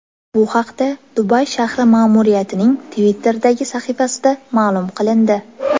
Bu haqda Dubay shahri ma’muriyatining Twitter’dagi sahifasida ma’lum qilindi .